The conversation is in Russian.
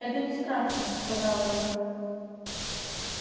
это не страшно сказала я